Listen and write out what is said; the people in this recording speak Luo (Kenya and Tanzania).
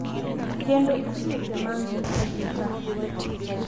Kendo osiepe ma ngita gi ta.